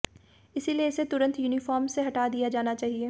इसलिए इसे तुरंत यूनिफॉर्म से हटा दिया जाना चाहिए